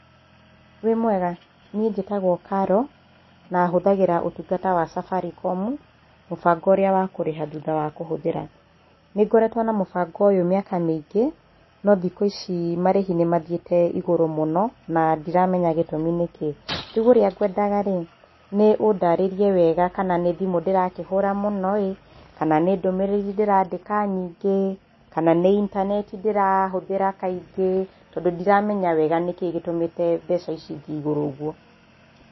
Wĩmwega, niĩ njĩtagwo Caro na hũthĩraga ũtungata wa Safaricom, mũbango ũrĩa wa kũrĩha thutha wa kũhũthĩra, nĩngoretwo na mũbango ũyũ miaka mĩingĩ, no thikũ ici marĩhi nĩ mathiĩte igũrũ mũno, na ndiramenya gĩtũmi nĩkĩ, rĩu ũria ngwendaga rĩ, nĩ ũndarĩria wega kana nĩ thimũ ndĩrakĩhũũra mũno ĩĩ, kana nĩ ndũmĩrĩri ndĩrandĩka nyingĩ, kana nĩ intaneti ndĩrahũthĩra kaingĩ, tondũ ndiramenya wega nĩkĩĩ gĩtũmĩte mbeca ici ithiĩ igũrũ ũguo.